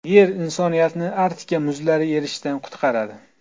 Yer insoniyatni Arktika muzlari erishidan qutqaradi.